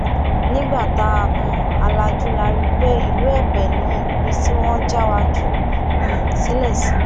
nígbà tá um a lajú la rí i pé ìlú èpè ni ibi tí wọn já wa jù um sílẹ sí